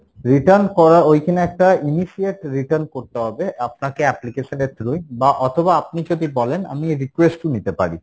return করার ওইখানে একটা initiate return করতে হবে, আপনাকে application এর through এ বা অথবা আপনি যদি বলেন আমি request ও নিতে পারি,